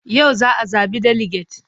Yau za a zaɓi deliget.